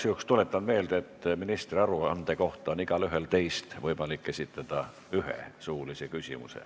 Igaks juhuks tuletan meelde, et ministri aruande kohta on igaühel teist võimalik esitada üks suuline küsimus.